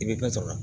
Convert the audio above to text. I bɛ fɛn sɔrɔ